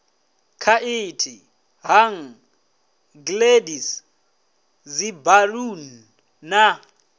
khaithi hang gliders dzibaluni na